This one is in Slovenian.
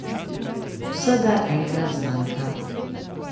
Vsega enkrat zmanjka.